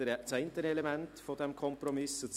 Das ist das eine Element dieses Kompromisses.